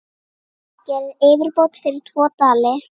Gerið yfirbót fyrir tvo dali!